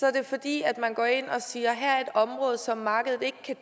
er det fordi man går ind og siger at her er et område som markedet ikke kan